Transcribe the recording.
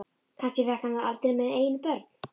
Kannski fékk hann það aldrei með eigin börn.